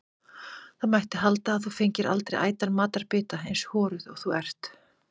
Það mætti halda að þú fengir aldrei ætan matarbita, eins horuð og þú ert.